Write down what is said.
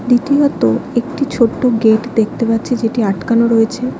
দ্বিতীয়ত একটি ছোট্ট গেট দেখতে পাচ্ছি যেটি আটকানো রয়েছে।